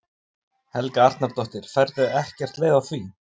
Helga Arnardóttir: Færðu ekkert leið á því?